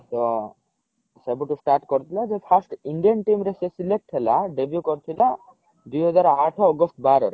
ତ ସେବେଠୁ start କରିଥିଲା ଯେବେ first indian team ରେ ସେ select ହେଲା debut କରିଥିଲା ଦୁଇ ହଜାର ଆଠ ଅଗଷ୍ଟ ବାର ରେ